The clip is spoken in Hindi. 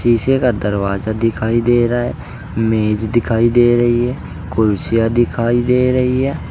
पीछे का दरवाजा दिखाई दे रहा है मेज दिखाई दे रही है कुर्सियां दिखाई दे रही है।